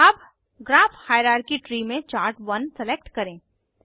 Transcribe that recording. अब graph hierarchy tree में chart 1 select करें